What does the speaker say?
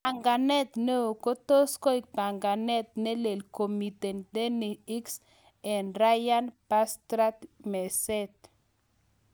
panganet neoo kotos koeg panganet ne lel komiten Danny Ings ag Ryard Bertrand meset